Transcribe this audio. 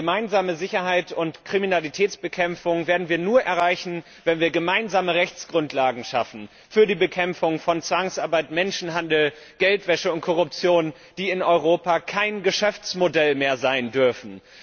Denn gemeinsame Sicherheit und Kriminalitätsbekämpfung werden wir nur erreichen, wenn wir gemeinsame Rechtsgrundlagen schaffen für die Bekämpfung von Zwangsarbeit, Menschenhandel, Geldwäsche und Korruption, die in Europa kein Geschäftsmodell mehr sein dürfen.